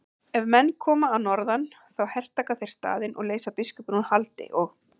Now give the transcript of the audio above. Ef menn koma að norðan þá hertaka þeir staðinn og leysa biskupinn úr haldi og.